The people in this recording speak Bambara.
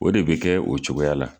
O de bɛ kɛ o cogoya la.